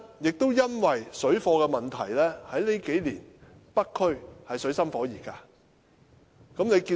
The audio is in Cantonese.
正因為水貨問題，這數年，北區的中港矛盾實在水深火熱。